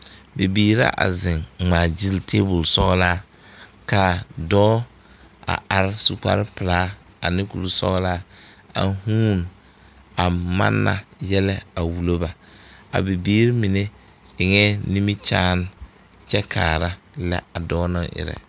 Bibiire la a zeŋ a gyile tabol sɔglaa kaa dɔɔ a are su kparepelaa ane kurisɔglaa a huune a manna yɛlɛ a wullo ba a bibiire mine eŋɛɛ nimikyaane kyɛ lɛ a dɔɔ naŋ erɛ.